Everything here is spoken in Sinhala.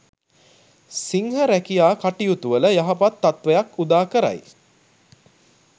සිංහ රැකියා කටයුතුවල යහපත් තත්ත්වයක් උදාකරයි.